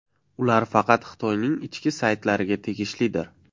Ular faqat Xitoyning ichki saytlariga tegishlidir.